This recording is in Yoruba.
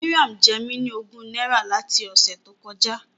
Mariam ń jẹ mí ní ogún náírà láti ọ̀sẹ̀ tó kọjá.